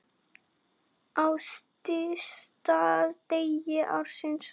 Á stysta degi ársins.